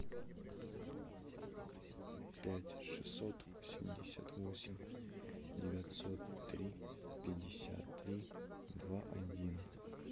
пять шестьсот восемьдесят восемь девятьсот три пятьдесят три два один